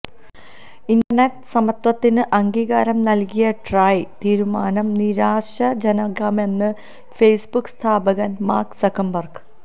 internet സമത്വത്തിന് അംഗീകാരം നൽകിയ ട്രായ് തീരുമാനം നിരാശാജനകമെന്ന് ഫേസ്ബുക്ക് സ്ഥാപകൻ മാർക്ക് സുക്കർബർഗ്